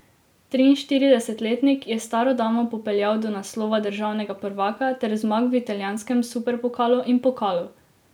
Triinštiridesetletnik je staro damo popeljal do naslova državnega prvaka ter zmag v italijanskem superpokalu in pokalu.